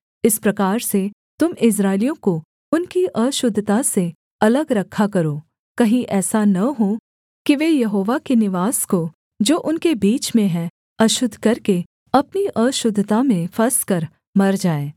इस प्रकार से तुम इस्राएलियों को उनकी अशुद्धता से अलग रखा करो कहीं ऐसा न हो कि वे यहोवा के निवास को जो उनके बीच में है अशुद्ध करके अपनी अशुद्धता में फँसकर मर जाएँ